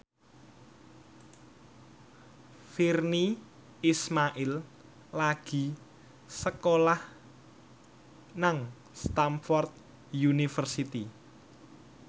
Virnie Ismail lagi sekolah nang Stamford University